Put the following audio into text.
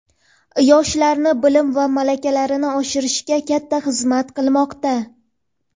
yoshlarni bilim va malakalarini oshirishga katta xizmat qilmoqda.